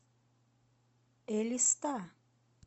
элиста